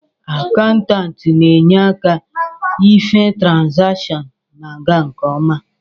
Akaụntanti na enye aka ihe trazation na aga nke ọma